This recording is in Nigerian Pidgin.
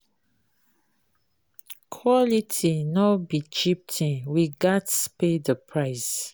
Quality no be cheap thing; sometimes, we gats pay di price.